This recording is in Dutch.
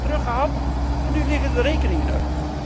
Zij hebben het eerst teruggehad en nu liggen de rekeningen er.